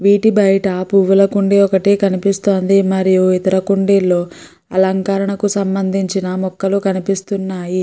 వీటి బయట పూల కుండి ఒకటి కనిపిస్తోంది మరియు ఇతర కుండీలు అలంకరణకు సంభందించిన మొక్కలు కనిపిస్తున్నాయి.